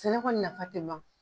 Sɛnɛ kɔni nafa te ban